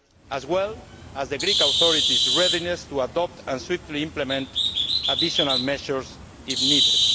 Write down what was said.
year, as well as the Greek authorities' readiness to adopt and swiftly implement additional measures if needed.